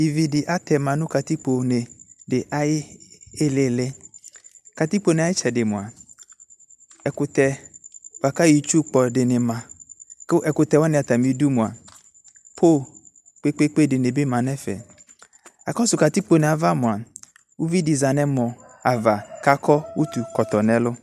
Ivi de atɛ,a no katikpone de aye ilili Katikpone aye tsɛde moa ɛkutɛ boa ka yɔ itsu kpɔ de ne ma ko ɛkutɛ wane atame du moa poo kpekpekpe de be ma nɛfɛ Akɔso katikpone ava moa ivi za nu ɛmɔ ava ka kɔ utu kɔtɔ nɛlu